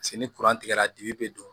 Paseke ni tigɛra dibi be don